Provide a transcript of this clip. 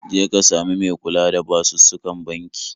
Je ka sami me kula da basussukan banki